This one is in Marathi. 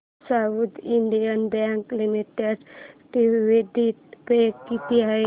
south Indian Bank Limited dividend pay किती आहे